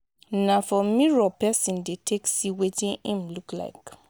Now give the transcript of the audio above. na for mirror persin de take see wetin im look like